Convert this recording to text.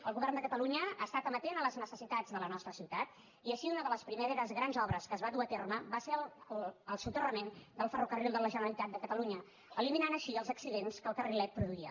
el govern de catalunya ha estat amatent a les necessitats de la nostra ciutat i així una de les primeres grans obres que es van dur a terme va ser el soterrament del ferrocarril de la generalitat de catalunya i es van eliminar així els accidents que el carrilet produïa